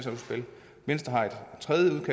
venstre har et tredje